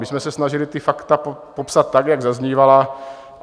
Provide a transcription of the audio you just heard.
My jsme se snažili ta fakta popsat tak, jak zaznívala.